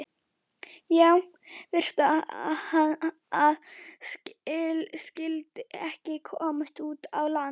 Já, verst að hann skyldi ekki komast út á land.